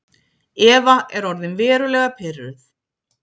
Eva er orðin verulega pirruð.